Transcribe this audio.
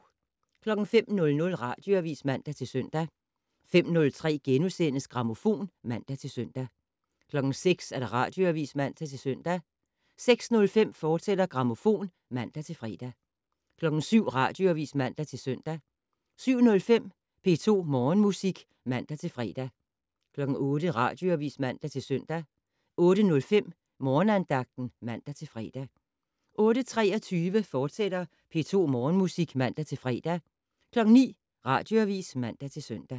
05:00: Radioavis (man-søn) 05:03: Grammofon *(man-søn) 06:00: Radioavis (man-søn) 06:05: Grammofon, fortsat (man-fre) 07:00: Radioavis (man-søn) 07:05: P2 Morgenmusik (man-fre) 08:00: Radioavis (man-søn) 08:05: Morgenandagten (man-fre) 08:23: P2 Morgenmusik, fortsat (man-fre) 09:00: Radioavis (man-søn)